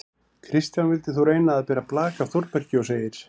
Kristján vildi þó reyna að bera blak af Þórbergi og segir: